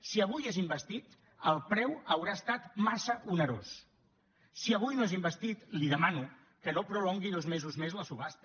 si avui és investit el preu haurà estat massa onerós si avui no és investit li demano que no prolongui dos mesos més la subhasta